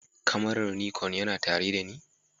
Kamarar Nikon yana tare da ni?